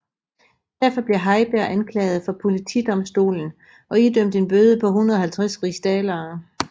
Derfor blev Heiberg anklaget for politidomstolen og idømt en bøde på 150 rigsdaler